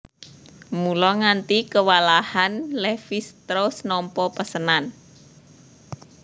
Mula nganti kewalahan Levis strauss nampa pesenan